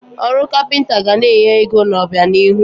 Ọrụ kapịnta ga na-enye ego n'obianihu.